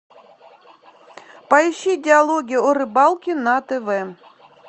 поищи диалоги о рыбалке на тв